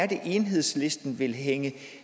det er enhedslisten vil hænge